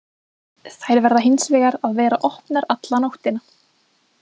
Þær verða hins vegar að vera opnar alla nóttina.